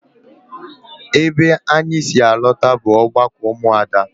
Ebe anyị si alọta bụ ọgbakọ ụmụ Ada